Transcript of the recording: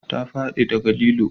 Ta fadi da ga lilo